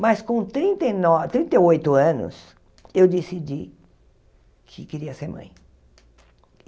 Mas, com trinta e no trinta e oito anos, eu decidi que queria ser mãe.